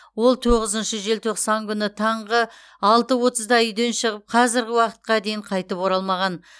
ол тоғызыншы желтоқсан күні таңғы алты отызда үйден шығып қазіргі уақытқа дейін қайтып оралмаған